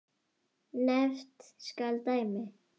Nefnt skal dæmi.